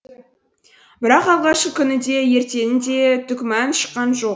бірақ алғашқы күні де ертеңінде түк мән шыққан жоқ